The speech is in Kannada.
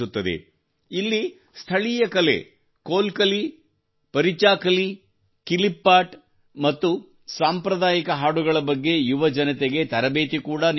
ಇಲ್ಲಿ ಸ್ಥಳೀಯ ಕಲೆ ಕೊಲ್ ಕಲಿ ಪರೀಚಾಕಲೀ ಕಿಲಿಪ್ಪಾಟ್ ಮತ್ತು ಸಾಂಪ್ರದಾಯಿಕ ಹಾಡುಗಳ ಬಗ್ಗೆ ಯುವಜನತೆಗೆ ತರಬೇತಿ ಕೂಡಾ ನೀಡಲಾಗುತ್ತದೆ